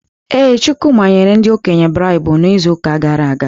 Ee, Chukwuka nyere ndị okenye braibu n’izu gara aga.